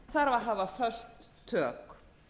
þarf að hafa föst tök